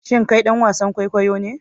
Shin kai dan wasan kwaikwayo ne?